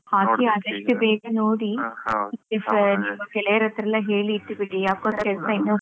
ಹಾಕಿ ಆದಷ್ಟು ಬೇಗ ನೋಡಿ ನಿಮ್ಮ ಗೆಳೆಯರತರೆಲ್ಲ ಹೇಳಿ ಇಟ್ಟು ಬಿಡಿ, ಯಕ್ಗೊತ್ತ ಕೆಲಸ ಇನ್ನೊಬ್ರು